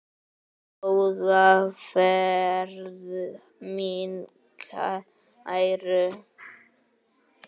Góða ferð mín kæru.